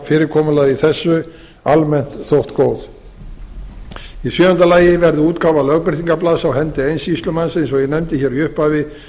fyrirkomulagi þessu almennt þótt góð í sjöunda lagi verði útgáfa lögbirtingablaðs á hendi eins sýslumanns eins og ég nefndi hér í upphafi